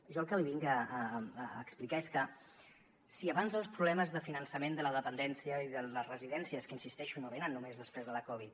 jo el que li vinc a explicar és que si abans els problemes de finançament de la dependència i de les residències que hi insisteixo no venen només després de la covid